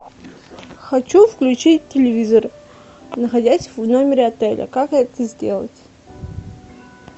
хочу включить телевизор находясь в номере отеля как это сделать